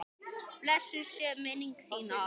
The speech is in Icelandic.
Blessuð sé minning þín, afi.